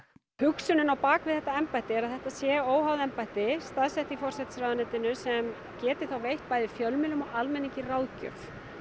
hugsunin á bakvið þetta embætti er að þetta sé óháð embætti staðsett í forsætisráðuneytinu sem geti veitt bæði fjölmiðlum og almenningi ráðgjöf